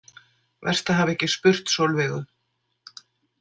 Verst að hafa ekki spurt Sólveigu.